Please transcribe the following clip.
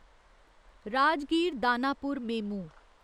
Rajgir Danapur MEMU